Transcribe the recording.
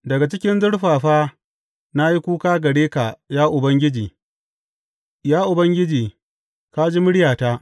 Daga cikin zurfafa na yi kuka gare ka, ya Ubangiji; Ya Ubangiji, ka ji muryata.